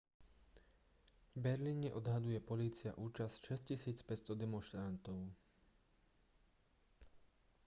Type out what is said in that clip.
v berlíne odhaduje polícia účasť 6500 demonštrantov